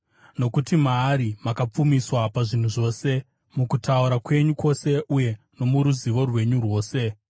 Nokuti maari makapfumiswa pazvinhu zvose, mukutaura kwenyu kwose uye nomuruzivo rwenyu rwose,